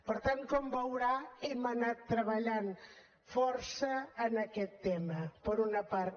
per tant com veurà hem anat treballant força en aquest tema per una part